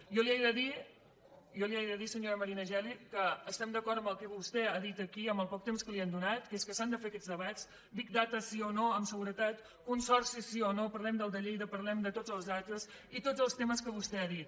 jo li he de dir senyora marina geli que estem d’acord amb el que vostè ha dit aquí amb el poc temps que li han donat que és que s’han de fer aquests debats big dataguretat consorcis sí o no parlem del de lleida parlem de tots els altres i tots els temes que vostè ha dit